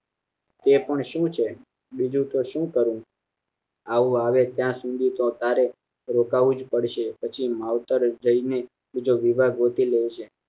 તે પણ શું છે બીજું તો શું કરું હાહુ આવે ત્યાં શુદ્ધિ તો તારે રોકાવું જ પડશે પછી માવતરે જય ને બીજો વિવાહ ગોતી લેજે